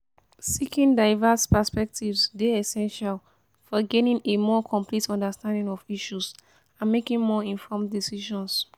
seeking diverse perspectives dey essential for gaining a more complete understanding of issues and making more informed decisions.